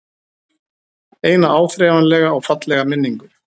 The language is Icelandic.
Eina áþreifanlega og fallega minningu.